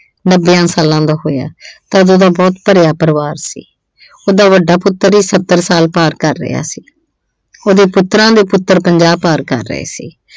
ਨੱਬਿਆਂ ਸਾਲਾਂ ਦਾ ਹੋਇਆ ਤਾਂ ਉਦੋਂ ਉਹਦਾ ਬਹੁਤ ਭਰਿਆ ਪਰਿਵਾਰ ਸੀ। ਉਹਦਾ ਵੱਡਾ ਪੁੱਤਰ ਈ ਸੱਤਰ ਸਾਲ ਪਾਰ ਕਰ ਰਿਹਾ ਸੀ। ਉਹਦੇ ਪੁੱਤਰਾਂ ਦੇ ਪੁੱਤਰ ਪੰਜਾਬ ਪਾਰ ਕਰ ਰਹੇ ਸੀ।